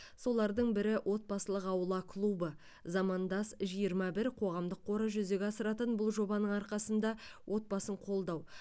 солардың бірі отбасылық аула клубы замандас жиырма бір қоғамдық қоры жүзеге асыратын бұл жобаның арқасында отбасын қолдау